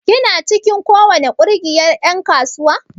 Kina cikin ko wani kungiyar en kasuwa?